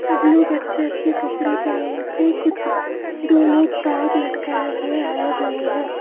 सब लोग अच्छे अच्छे कपड़े पहनने के कुछ दो लोग बैग लटकाए हुए आए हुए हैं।